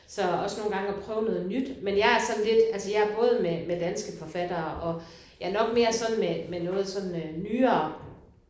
Så også nogle gange at prøve noget nyt. Men jeg er sådan lidt altså jeg er både med med danske forfattere og jeg er nok mere sådan med med noget sådan øh nyere